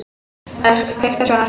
Örk, kveiktu á sjónvarpinu.